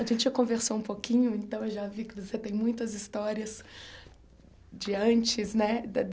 A gente já conversou um pouquinho, então eu já vi que você tem muitas histórias de antes, né? da